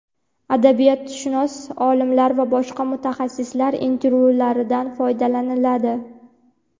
adabiyotshunos olimlar va boshqa mutaxassislar intervyularidan foydalaniladi.